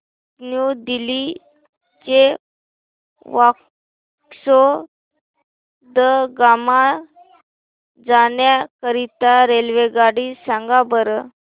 new Delhi ते वास्को द गामा जाण्या करीता रेल्वेगाडी सांगा बरं